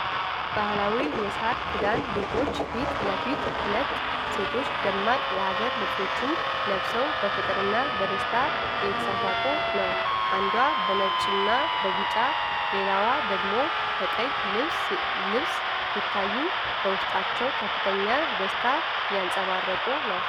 ባህላዊ የሳር ክዳን ቤቶች ፊት ለፊት፤ ሁለት ሴቶች ደማቅ የሀገር ልብሶችን ለብሰው በፍቅርና በደስታ እየተሳሳቁ ነው:: አንዷ በነጭና ቢጫ ሌላዋ ደግሞ በቀይ ልብስ ሲታዩ፤ በውስጣቸው ከፍተኛ ደስታ እያንፀባረቁ ነው ::